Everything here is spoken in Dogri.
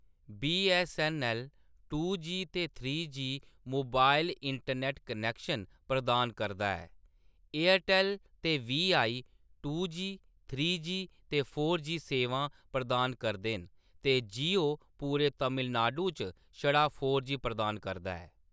बीऐस्सऐन्नऐल्ल टू जी ते three G mobile internet connection प्रदान करदा ऐ; एयरटैल ते Vi two G, three G ते फोर जी सेवां प्रदान करदे न ते जियो पूरे तमिलनाडु च छड़ा फोर जी प्रदान करदा ऐ।